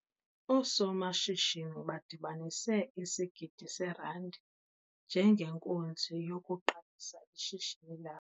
Oosomashishini badibaniseisigidi seerandi njengenkunzi yokuqalisa ishishini labo.